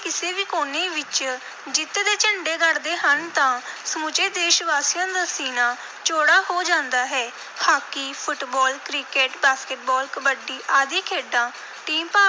ਕਿਸੇ ਵੀ ਕੋਨੇ ਵਿਚ ਜਿੱਤ ਦੇ ਝੰਡੇ ਗੱਡਦੇ ਹਨ ਤਾਂ ਸਮੁੱਚੇ ਦੇਸ਼-ਵਾਸੀਆਂ ਦਾ ਸੀਨਾ ਚੌੜਾ ਹੋ ਜਾਂਦਾ ਹੈ। Hockey, football, cricket, basketball, kabaddi ਆਦਿ ਖੇਡਾਂ team ਭਾਵ